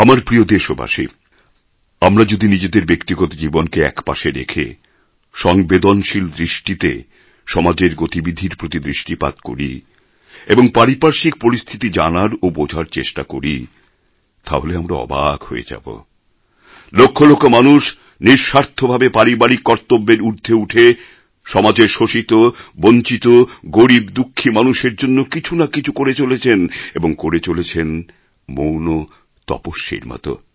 আমার প্রিয় দেশবাসী আমরা যদি নিজেদের ব্যক্তিগত জীবনকে একপাশে রেখে সংবেদনশীল দৃষ্টিতে সমাজের গতিবিধির প্রতি দৃষ্টিপাত করি এবং পারিপার্শ্বিক পরিস্থিতি জানার ও বোঝার চেষ্টা করি তাহলে আমরা অবাক হয়ে দেখব লক্ষ লক্ষ মানুষ নিঃস্বার্থভাবে পারিবারিক কর্তব্যের ঊর্ধ্বে উঠে সমাজের শোষিত বঞ্চিত গরীব দুঃখী মানুষের জন্য কিছু না কিছু করে চলেছেন এবং করে চলেছেন মৌন তপস্বীর মত